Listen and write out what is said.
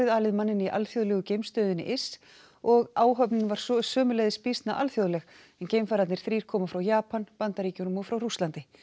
alið manninn í alþjóðlegu geimstöðinni ISS og áhöfnin var sömuleiðis býsna alþjóðleg en geimfararnir þrír koma frá Japan Bandaríkjunum og frá Rússlandi